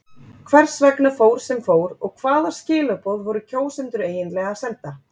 Hvers vegna fór sem fór og hvaða skilaboð voru kjósendur eiginlega að senda?